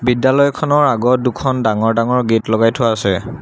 বিদ্যালয়খনৰ আগত দুখন ডাঙৰ ডাঙৰ গেট লগাই থোৱা আছে।